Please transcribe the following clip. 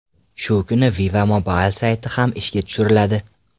Shu kuni Viva Mobil sayti ham ishga tushiriladi.